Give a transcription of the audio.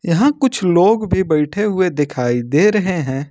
यहां कुछ लोग भी बैठे हुए दिखाई दे रहे हैं।